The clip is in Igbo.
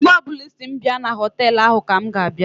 Mgbe ọbụla Ị sị m bịa na họtelụ ahụ ka m ga-abịa.